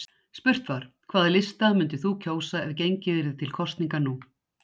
Spurt var: hvaða lista myndir þú kjósa ef gengið yrði til kosninga nú?